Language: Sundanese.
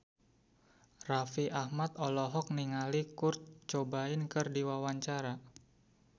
Raffi Ahmad olohok ningali Kurt Cobain keur diwawancara